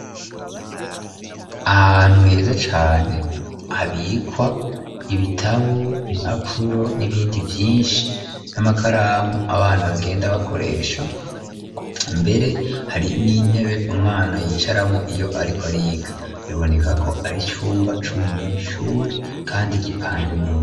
Ahantu heza cane habikwa ibitabu impapuro n'ibindi vyinshi n'amakaramu abana bagenda bakoresha ,mbere hari n'intebe umwana yicaramwo iyo ariko ariga biboneka ko ari cumba c'umunyeshuri kandi gipanze neza.